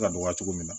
Ka dɔgɔya cogo min na